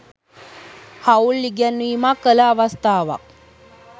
හවුල් ඉගැන්වීමක් කළ අවස්ථාවක්